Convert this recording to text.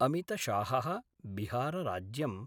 अमितशाहः बिहार राज्यम्